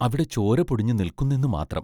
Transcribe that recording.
അവിടെ ചോര പൊടിഞ്ഞു നിൽക്കുന്നെന്നു മാത്രം.....